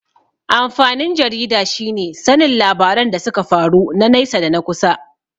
Amfanin jarida shine sanin labaran da suka faru na naisa da na kusa.